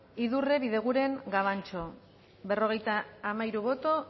aldekoa berrogeita hamairu